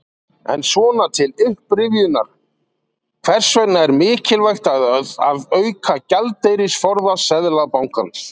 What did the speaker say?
En svona til upprifjunar, hvers vegna er mikilvægt að auka gjaldeyrisforða Seðlabankans?